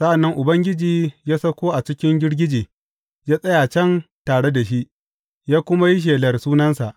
Sa’an nan Ubangiji ya sauko a cikin girgije ya tsaya can tare da shi, ya kuma yi shelar sunansa.